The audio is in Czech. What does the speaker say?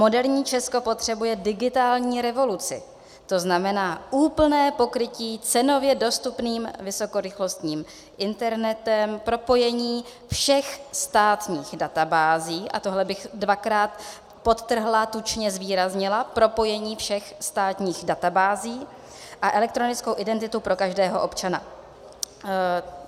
Moderní Česko potřebuje digitální revoluci, to znamená úplné pokrytí cenově dostupným vysokorychlostním internetem, propojení všech státních databází - a tohle bych dvakrát podtrhla, tučně zvýraznila - propojení všech státních databází a elektronickou identitu pro každého občana.